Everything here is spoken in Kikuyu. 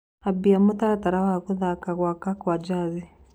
ambia mũtaratara wa guthaka gwakwa gwa jazi